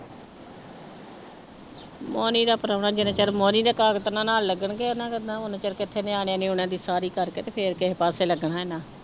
ਮੋਨੀ ਦਾ ਪਰਾਹੁਣਾ ਜਿੰਨਾ ਚਿਰ ਮੋਨੀ ਦੇ ਨਾਲ ਲੱਗਣਗੇ, ਉਹਨਾਂ ਦਾ ਨਾ ਓਨਾ ਚਿਰ ਕਿੱਥੇ ਨਿਆਣਿਆ ਨੇ ਉਹਨਾਂ ਦੀ ਸਾਰੀ ਕਰਕੇ ਤੇ ਫਿਰ ਕਿਸੇ ਪਾਸੇ ਲੱਗਣਾ ਇੰਨਾ।